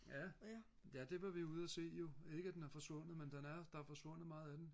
ja ja det var vi ude og se jo ikke at den er forsvundet men den er der er forsvundet meget af den